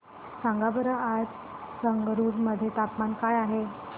सांगा बरं आज संगरुर मध्ये तापमान काय आहे